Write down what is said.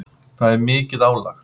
Það er mikið álag.